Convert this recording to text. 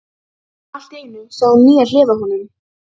Allt í einu sá hún nýja hlið á honum.